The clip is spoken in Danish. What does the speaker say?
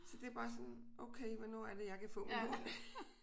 Så det er bare sådan okay hvornår er det jeg kan få min hund